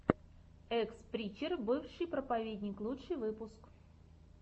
экс причер бывший проповедник лучший выпуск